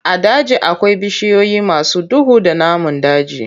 A daji akwai bishiyoyi masu duhu da namun daji.